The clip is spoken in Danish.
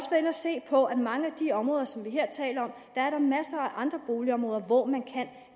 at se på at i mange af de områder som vi her taler om er der masser af andre boligområder hvor man kan